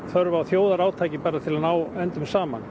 þörf á þjóðarátaki til að ná endum saman